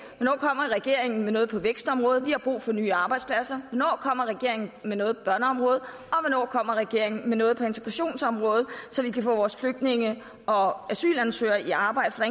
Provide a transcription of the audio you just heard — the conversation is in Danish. hvornår kommer regeringen med noget på vækstområdet vi har brug for nye arbejdspladser hvornår kommer regeringen med noget på børneområdet og hvornår kommer regeringen med noget på integrationsområdet så vi kan få vores flygtninge og asylansøgere i arbejde for